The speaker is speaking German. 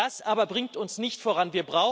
Das aber bringt uns nicht voran.